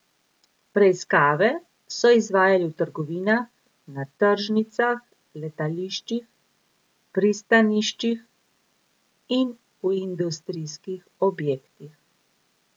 Preiskave so izvajali v trgovinah, na tržnicah, letališčih, pristaniščih in v industrijskih objektih.